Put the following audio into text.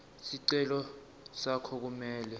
sicelo sakho kumele